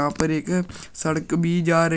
ऊपर एक सड़क भी जा रही--